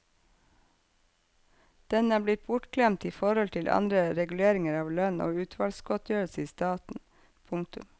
Den er blitt bortglemt i forhold til andre reguleringer av lønn og utvalgsgodtgjørelser i staten. punktum